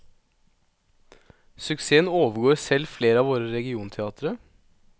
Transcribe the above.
Suksessen overgår selv flere av våre regionteatre.